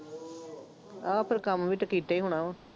ਆਹ ਫੇਰ ਕੰਮ ਵੀ ਤਾਂ ਕੀਤਾ ਹੀ ਹੋਣਾ ਵਾ,